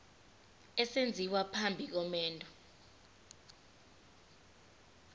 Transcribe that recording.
esenziwa phambi komendo